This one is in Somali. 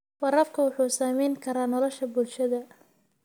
Waraabku wuxuu saamayn karaa nolosha bulshada.